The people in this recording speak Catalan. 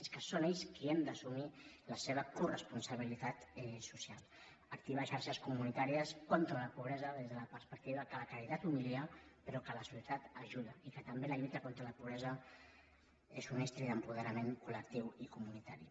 és que són ells qui han d’assumir la seva coresponsabilitat social activar xarxes comunitàries contra la pobresa des de la perspectiva que la caritat humilia però que la solidaritat ajuda i que també la lluita contra la pobresa és un estri d’apoderament col·lectiu i comunitari